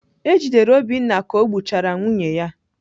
E jidere Obinna ka o gbuchara nwunye ya.